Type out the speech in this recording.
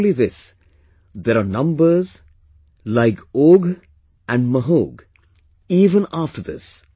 Not only this, there are numbers like Ogh and Mahog even after this